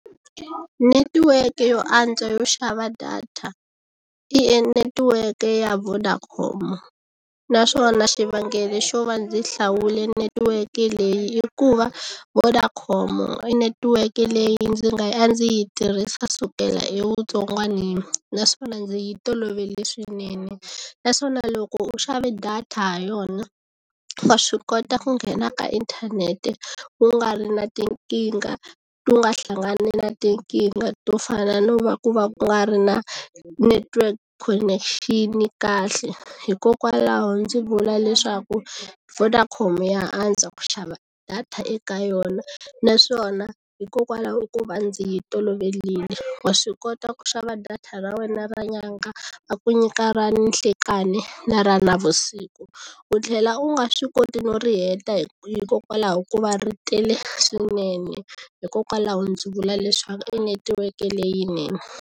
Netiweke yo antswa yo xava data i netiweke ya Vodacom naswona xivangelo xo va ndzi hlawule netiweke leyi i ku va Vodacom i netiweke leyi ndzi nga a ndzi yi tirhisa sukela evutsongwanini naswona ndzi yi tolovele swinene naswona loko u xave data ha yona wa swi kota ku nghena ka inthanete ku nga ri na tinkingha u nga hlangani na tinkingha to fana no va ku va ku nga ri na network connection kahle hikokwalaho ndzi vula leswaku Vodacom ya antswa ku xava data eka yona naswona hikokwalaho ko va ndzi yi toloverile wa swi kota ku xava data ra wena ra nyanga va ku nyika ra ninhlekani na ra navusiku u tlhela u nga swi koti no ri heta hikokwalaho ko va ri tele swinene hikokwalaho ndzi vula leswaku i netiweke leyinene.